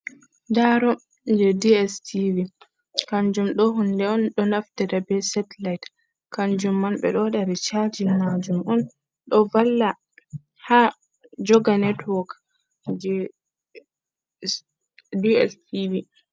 Daro je dstv kanjum ɗo hunde on ɗo naftida be satellite, kanjum man ɓe ɗo waɗa ricajin majum on, ɗo valla ha joga network je dstv.